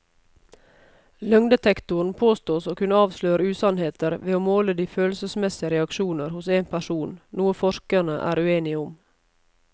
Løgndetektoren påstås å kunne avsløre usannheter ved å måle de følelsesmessige reaksjoner hos en person, noe forskerne er uenige om.